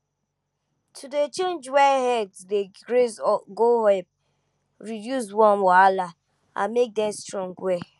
to dey change where herds dey graze go help reduce worm wahala and make dem strong well